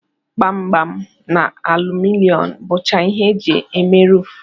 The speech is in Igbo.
Gbam-gbam na aluminom bụcha ihe eji eme ruufu.